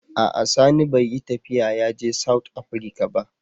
A'a sani bai yi tafiya yaje "south Africa " ba.